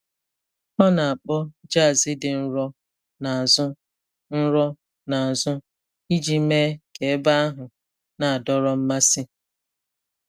Ọ na-akpọ jazz dị nro n’azụ nro n’azụ iji mee ka ebe ahụ na-adọrọ mmasị.